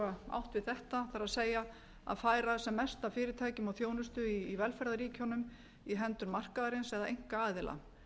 átt við þetta það er að færa sem mest af fyrirtækjum og þjónustu í velferðarríkjunum í hendur markaðarins eða einkaaðila